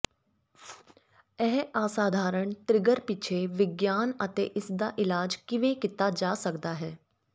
ਇਹ ਅਸਾਧਾਰਣ ਤ੍ਰਿਗਰ ਪਿੱਛੇ ਵਿਗਿਆਨ ਅਤੇ ਇਸ ਦਾ ਇਲਾਜ ਕਿਵੇਂ ਕੀਤਾ ਜਾ ਸਕਦਾ ਹੈ